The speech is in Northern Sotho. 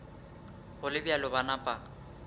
go le bjalo ba napa